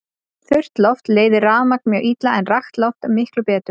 Þurrt loft leiðir rafmagn mjög illa en rakt loft miklu betur.